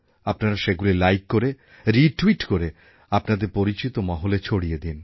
আপনারা সেগুলি লাইক করে রিট্যুইট করে আপনাদের পরিচিত মহলে ছড়িয়ে দিন